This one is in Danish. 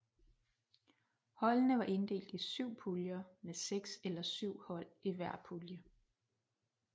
Holdene var inddelt i syv puljer med seks eller syv hold i hver pulje